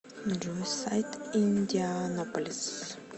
джой сайт индианаполис